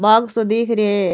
बाग़ सो दीख रे है।